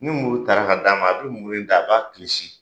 Ni muru taara ka d'a ma, a bi muru in ta a b'a kilisi.